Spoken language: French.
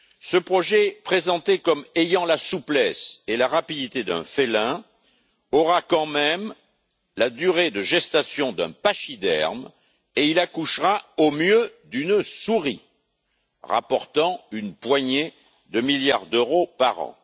Ce projet, présenté comme ayant la souplesse et la rapidité d'un félin, aura quand même la durée de gestation d'un pachyderme et il accouchera, au mieux, d'une souris, rapportant une poignée de milliards d'euros par an.